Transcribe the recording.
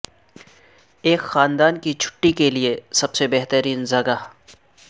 ایک خاندان کی چھٹی کے لئے سب سے بہترین جگہ